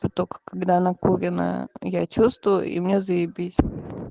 только когда накуренная я чувствую и мне заебись